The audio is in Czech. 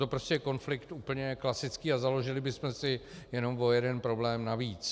To je prostě konflikt úplně klasický a založili bychom si jenom o jeden problém navíc.